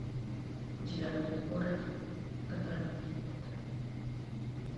у тебя будет город в котором меня нет